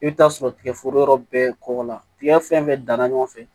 I bɛ taa sɔrɔ tigɛforo yɔrɔ bɛɛ kɔkɔ la tigɛ fɛn fɛn danna ɲɔgɔn fɛ